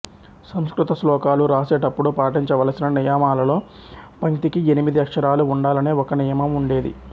సంస్కృత శ్లోకాలు రాసేటప్పుడు పాటించవలసిన నియమాలలో పంక్తికి ఎనిమిది అక్షరాలు ఉండాలనే ఒక నియమం ఉండేది